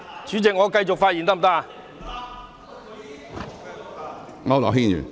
主席，我可以繼續發言嗎？